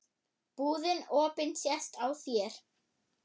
Búðin opin sést á þér.